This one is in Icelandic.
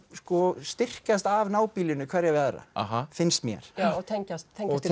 styrkjast af hverjar við aðra finnst mér og tengjast